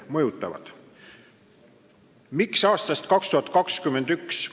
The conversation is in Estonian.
Miks jõustub seadus aastal 2021?